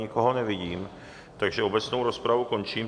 Nikoho nevidím, takže obecnou rozpravu končím.